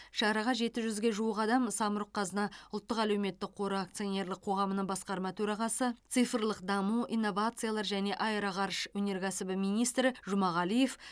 шараға жеті жүзге жуық адам самұрық қазына ұлттық әлеуметтік қоры акционерлік қоғамының басқарма төрағасы цифрлық даму инновациялар және аэроғарыш өнеркәсібі министрі жұмағалиев